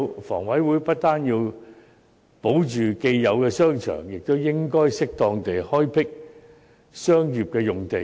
房委會不單要保留既有的商場，亦應該適當地開闢商業用地。